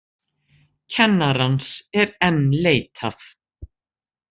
Kennarans enn leitað